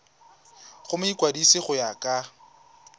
go mokwadise go ya ka